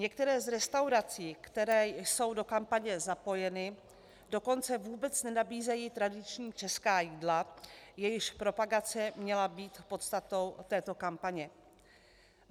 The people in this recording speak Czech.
Některé z restaurací, které jsou do kampaně zapojeny, dokonce vůbec nenabízejí tradiční česká jídla, jejichž propagace měla být podstatou této kampaně.